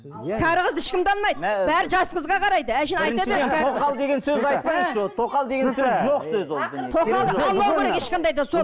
кәрі қызды ешкім де алмайды бәрі жас қызға қарайды